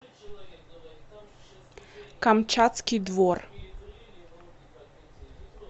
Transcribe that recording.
камчатский двор